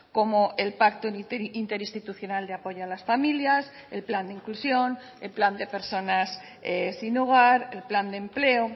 como el pacto interinstitucional de apoyo a las familias el plan de inclusión el plan de personas sin hogar el plan de empleo